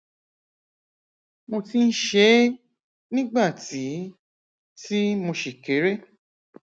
mo ti ń ṣe é nígbà tí tí mo ṣì kéré